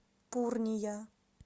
пурния